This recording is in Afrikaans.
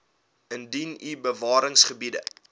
indien u bewaringsgebiede